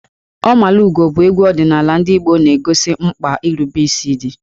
Ọmalugo bụ egwu ọdịnala ndị Igbo na-egosi mkpa nrubeisi dị.